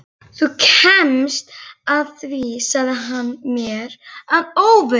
Þú kemst að því sagði hann mér að óvörum.